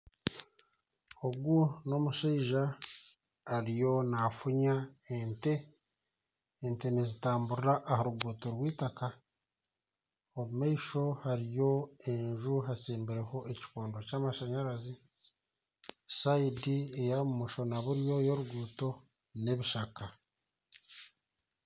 Ogu n'omushaija ariyo nafunya ente , ente nizitamburra aharuguuto rw'itaka omumaisho hariyo enju hatsimbireho ekikondo ky'amashanyarazi sayidi eyabumosho na buryo y'oruguuto n'ebishaka.